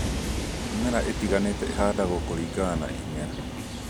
Mĩmera ĩtiganĩte ĩhandagwo kũringana na imera